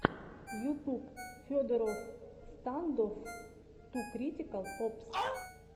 ютуб федороффф стандофф ту критикал опс